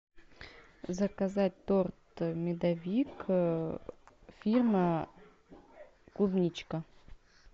заказать торт медовик фирма клубничка